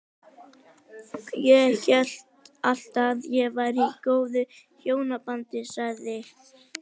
Ég hélt alltaf að ég væri í góðu hjónabandi- sagði